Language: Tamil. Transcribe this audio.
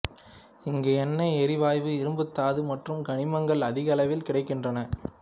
இங்கு எண்ணெய் எரிவாயு இரும்புத்தாது மற்றும் கனிமங்கள் அதிகளவில் கிடைக்கின்றன